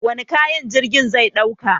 Wane kayan jirgin zai dauka?